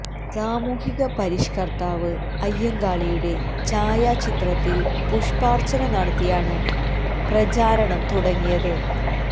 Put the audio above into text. സാമൂഹിക പരിഷ്കർത്താവ് അയ്യങ്കാളിയുടെ ഛായാചിത്രത്തിൽ പുഷ്പാർച്ചന നടത്തിയാണ് പ്രചാരണം തുടങ്ങിയത്